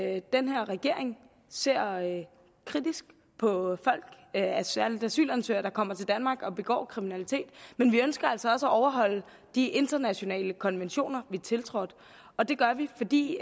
at den her regering ser kritisk på særlig asylansøgere der kommer til danmark og begår kriminalitet men vi ønsker altså også at overholde de internationale konventioner vi har tiltrådt og det gør vi fordi